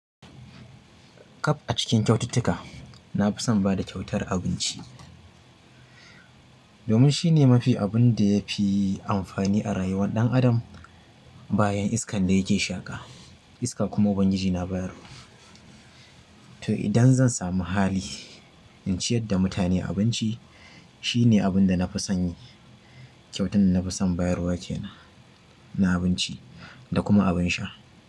Kap a cikin kyaututtuka, na fi son bada kyautar abinci. Domin shine mafi abun da yafi amfani a rayuwar ɗan adam. Bayan iskan da yake shaƙa iska kuma Ubangiji na bayarwa. To idan zan samu hali, in ciyar da mutane abinci shi ne abin da nafi son yi. Kyautar da na fi son bayarwa kenan na abinci da kuma abin sha.